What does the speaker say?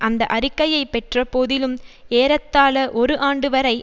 அந்த அறிக்கையை பெற்ற போதிலும் ஏறத்தாழ ஒரு ஆண்டுவரை